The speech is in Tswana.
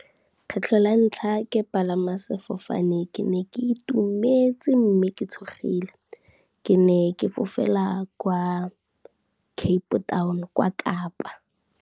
Kgetlho la ntlha ke palama sefofane ke ne ke itumetse mme ke tshogile. Ke ne ke fofela kwa Cape town, kwa Kapa.